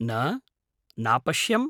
न, नापश्यम्।